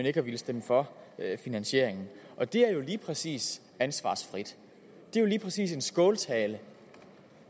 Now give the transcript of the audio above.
ikke stemme for finansieringen og det er jo lige præcis ansvarsfrit det er jo lige præcis en skåltale